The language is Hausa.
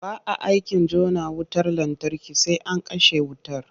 Ba a aikin jona wutar lantarki sai an kashe wutar.